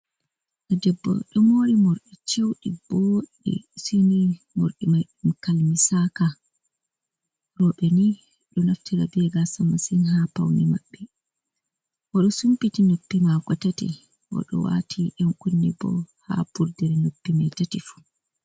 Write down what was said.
Debbo ɗo mori morɗi chewɗi boɗɗe. Sai ni mordi mai kalmisaka. Roɓe ni ɗo naftira be mai masin ha paune mabbe. Oɗo sumpiti noppi mako tati, Oɗo wati 'yan kunne bo ha vurdere noppi mai tati fu.